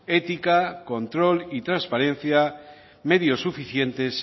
ética control y transparencia medios suficientes